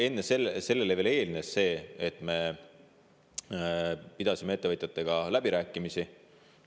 Sellele eelnes see, et me pidasime ettevõtjatega läbirääkimisi …